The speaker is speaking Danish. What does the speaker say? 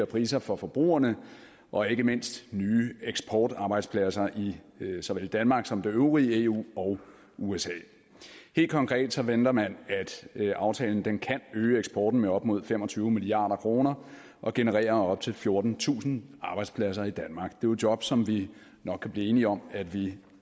priser for forbrugerne og ikke mindst nye eksportarbejdspladser i såvel danmark som det øvrige eu og usa helt konkret venter man at aftalen kan øge eksporten med op mod fem og tyve milliard kroner og generere op til fjortentusind arbejdspladser i danmark det er jo job som vi nok blive enige om at vi